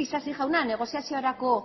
isasi jauna negoziaziorako